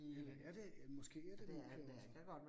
Eller er det en måske er det en Nokia også